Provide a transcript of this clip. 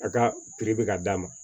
A ka bɛ ka d'a ma